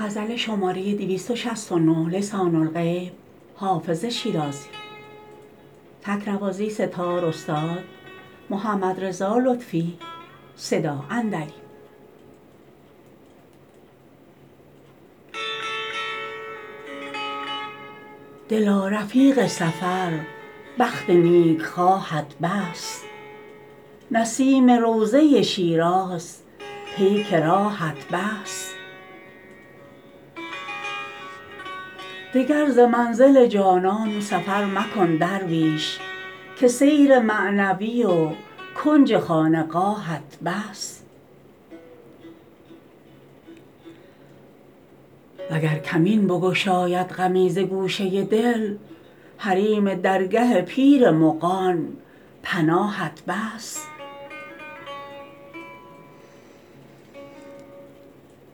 دلا رفیق سفر بخت نیکخواهت بس نسیم روضه شیراز پیک راهت بس دگر ز منزل جانان سفر مکن درویش که سیر معنوی و کنج خانقاهت بس وگر کمین بگشاید غمی ز گوشه دل حریم درگه پیر مغان پناهت بس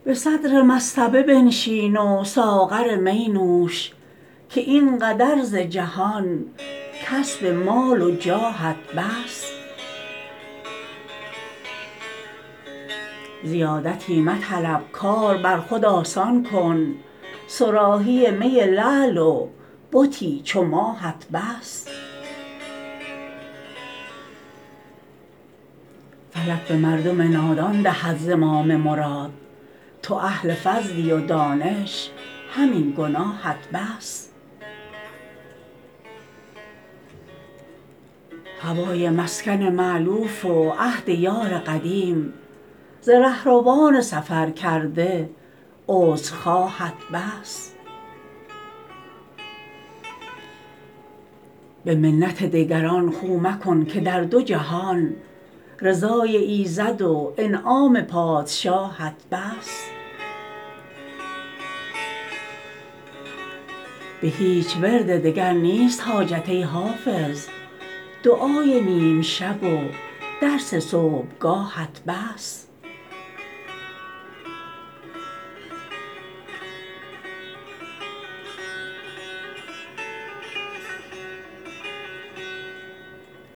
به صدر مصطبه بنشین و ساغر می نوش که این قدر ز جهان کسب مال و جاهت بس زیادتی مطلب کار بر خود آسان کن صراحی می لعل و بتی چو ماهت بس فلک به مردم نادان دهد زمام مراد تو اهل فضلی و دانش همین گناهت بس هوای مسکن مألوف و عهد یار قدیم ز رهروان سفرکرده عذرخواهت بس به منت دگران خو مکن که در دو جهان رضای ایزد و انعام پادشاهت بس به هیچ ورد دگر نیست حاجت ای حافظ دعای نیم شب و درس صبحگاهت بس